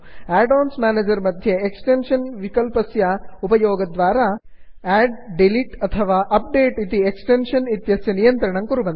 add ons manager मध्ये extension विकल्पस्य उपयोगद्वारा आड् डिलिट् अथवा अप्डेट् इति एक्स्टेन्षन् इत्यस्य नियन्त्रणं कुर्वन्तु